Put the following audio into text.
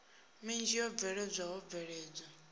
minzhi yo bveledzwa ho bveledzwa